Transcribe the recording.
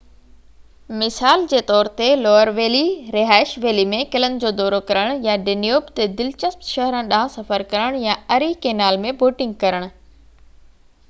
مثال جي طور تي لوئر ويلي رهائن ويلي ۾ قلعن جو دورو ڪرڻ يا ڊينيوب تي دلچسپ شهرن ڏانهن سفر ڪرڻ يا اري ڪينال ۾ بوٽنگ ڪرڻ